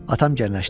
Atam gəriləşdi.